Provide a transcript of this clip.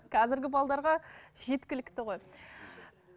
қазіргі жеткілікті ғой